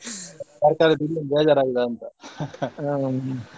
ತರಕಾರಿ ತಿಂದು ಬೇಜಾರ್ ಆಗಿದೆ ಅಂತ .